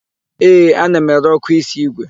Ee, ana m ere ọ́kụ́ísí ígwè.